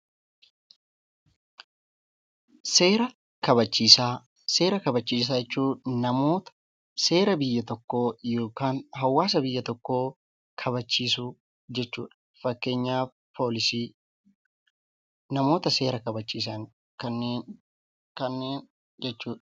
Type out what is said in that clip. Seera kabachiisaa Seera kabachiisaa jechuun namoota seera biyya tokkoo yookaan hawaasa biyya tokkoo kabachiisuu jechuu dha. Fakkeenyaaf Poolisii. Namoota seera kabachiisan kanneen jechuu dha.